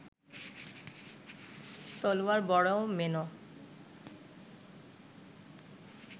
তলোয়ার বড় মেনো